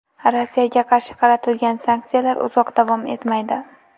Rossiyaga qarshi qaratilgan sanksiyalar uzoq davom etmaydi.